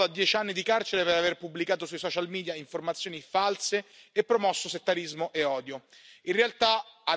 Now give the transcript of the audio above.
Mansoor è stato condannato a dieci anni di carcere per aver pubblicato sui social media informazioni false e promosso settarismo e odio.